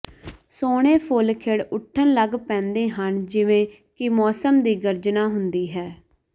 ਸੋਹਣੇ ਫੁੱਲ ਖਿੜ ਉੱਠਣ ਲੱਗ ਪੈਂਦੇ ਹਨ ਜਿਵੇਂ ਕਿ ਮੌਸਮ ਦੀ ਗਰਜਨਾ ਹੁੰਦੀ ਹੈ